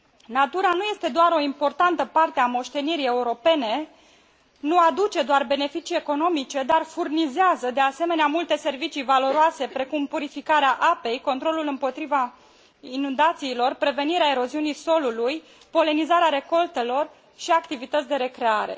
Natura nu este doar o importantă parte a moștenirii europene, nu aduce doar beneficii economice, dar furnizează, de asemenea, multe servicii valoroase, precum purificarea apei, controlul împotriva inundațiilor, prevenirea eroziunii solului, polenizarea recoltelor și activități de recreare.